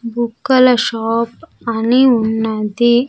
బుగ్గల షాప్ అని ఉన్నది.